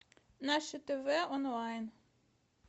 наше тв онлайн